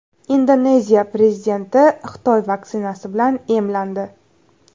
Indoneziya prezidenti Xitoy vaksinasi bilan emlandi.